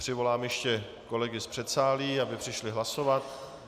Přivolám ještě kolegy z předsálí, aby přišli hlasovat.